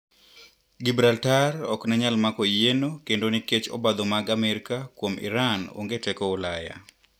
gibraltar oknenyal mako yieno kendo nikech obadho mag Amerika kuom Iran onge teko ulaya.